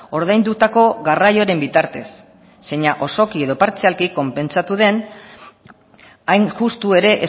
ordaindutako garraioaren bitartez zeina osoki edo partzialki konpentsatu den hain justu ere